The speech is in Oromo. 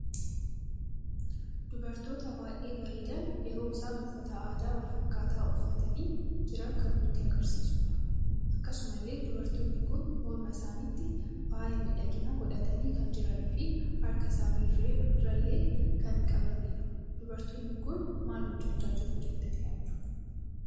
Dubartoota baay'ee bareedan yeroo isaan uffata aadaa wal fakkat uffatani jiran kan nutti agarsiisuudha. Akkasumallee dubartoonni kun mormaa isaanitti faayaa miidhagina godhatani kan jiranii fi harkaa isaani irraallee kan qabanidha. dubartoonni kun maal hojjecha jiru jettani yaaddu?